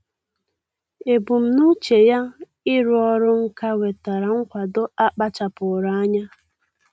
Ebumnuche ya ịrụ ọrụ nka nwetara nkwado a kpachapụụrụ anya.